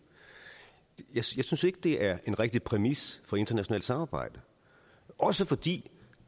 jeg synes ikke det er en rigtig præmis for internationalt samarbejde også fordi